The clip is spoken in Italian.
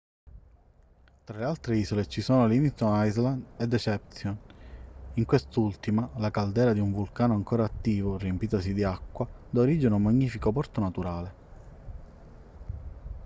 tra le altre isole ci sono livingston island e deception in quest'ultima la caldera di un vulcano ancora attivo riempitasi di acqua da origine a un magnifico porto naturale